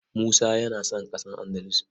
Musa yana son ƙasa Andalus.